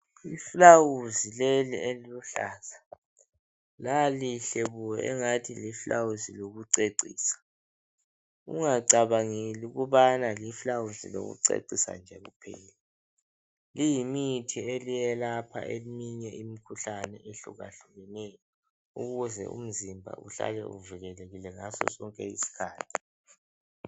I flawuzi leli eliluhlaza, lalihle bo angani liflawuzi lokucecisa. Ungacabangeli ukubana liflawuzi lokucecisa nje kuphela. Leyi mithi eliye lapha eminye imikhuhlane ehlukahlukeneyo ukuze umzimba uhlale uvikelekile ngaso sonke iskhathi.